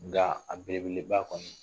Nka a belebeba kɔnɔ